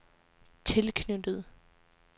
tilknyttet